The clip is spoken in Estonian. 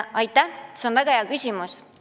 Aitäh, see on väga hea küsimus!